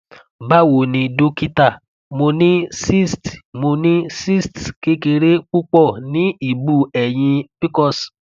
bawo ni dokita mo ni cysts mo ni cysts kekere pupo ni ibu eyin pcos